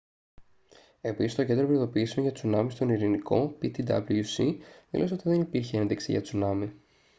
επίσης το κέντρο προειδοποιήσεων για τσουνάμι στον ειρηνικό ptwc δήλωσε ότι δεν υπήρχε ένδειξη για τσουνάμι